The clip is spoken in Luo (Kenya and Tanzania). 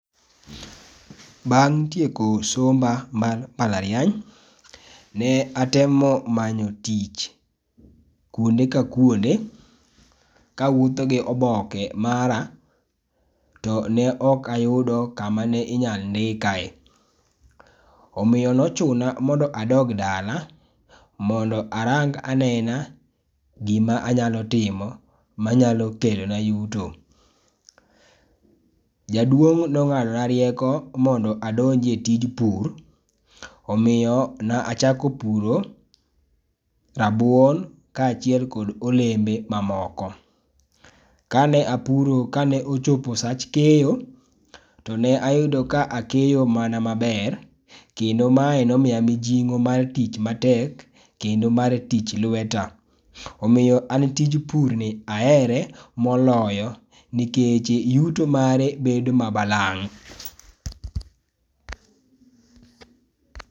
Bang' tieko somba mar mbalariany, ne atemo manyo tich kuonde ka kuonde ka awuotho gi oboke mara to ne ok ayudo ka ma ne inya ndikae omiyo ne ochuna ni adog dala mondo arang anena gi ma anya timo ma nyalo kelo na yuto. Jaduong ne ongado na rieko mondo andonj e tij pur . Omiyo ne achako puro rabuon kaachile kod olembe ma moko. Ka ne a puro ka ne ochopo sach keyo to ne ayudo ka keyo mana ma ber kendo ma ne omiya mijing'o mar tich ma tek kendo mar tij lweta. Omiyo an tij pur ni ahere moloyo nikech yuto mare bedo ma balang'.